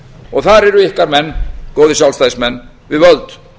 og þar eru ykkar menn góðir sjálfstæðismenn við völd